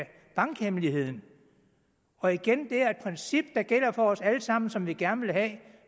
bankhemmeligheden og igen det er et princip der gælder for os alle sammen som vi gerne vil have